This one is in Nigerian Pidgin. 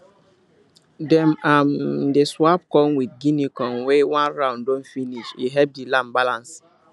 dem um dey swap corn with guinea corn when one round don finish e help the land balance